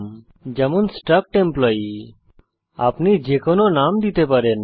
উদাহরণস্বরূপ struct employee আপনি যে কোনো নাম দিতে পারেন